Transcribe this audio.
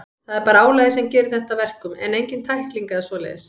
Það er bara álagið sem gerir þetta að verkum, en engin tækling eða svoleiðis.